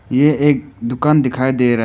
यह एक दुकान दिखाई दे रहा है।